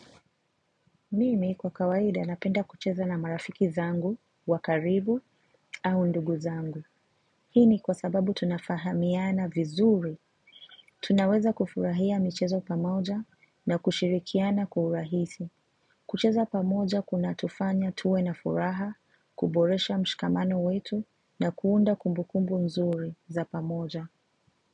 Mimi kwa kawaida napenda kucheza na marafiki zangu, wa karibu, au ndugu zangu. Hii ni kwa sababu tunafahamiana vizuri. Tunaweza kufurahia michezo pamoja na kushirikiana kwa urahisi. Kucheza pamoja kunatufanya tuwe na furaha, kuboresha mshikamano wetu na kuunda kumbukumbu nzuri za pamoja.